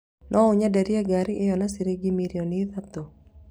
No ũnyenderie ngaari ĩyo na ciringi mirioni ithatũ